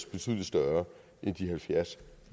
betydelig større end de halvfjerds